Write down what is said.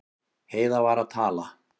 Heiða var að tala.